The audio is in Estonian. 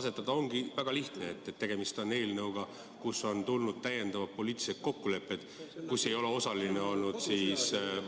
See on väga lihtne: tegemist on eelnõuga, mille kohta on sõlmitud täiendavad poliitilised kokkulepped, milles ei ole osalenud